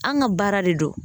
An' ŋa baara de don